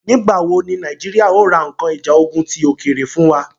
Nígbà wò ní Nàìjíríà ó ra nkan ìjà ogún ti òkèèrè fún wa?